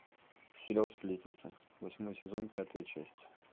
сериал сплетница восьмой сезон пятая часть